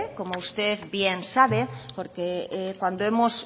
como usted bien sabe porque cuando hemos